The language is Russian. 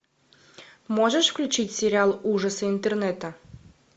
можешь включить сериал ужасы интернета